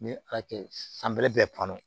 Ni ala kɛ san bɛrɛ bɛ bann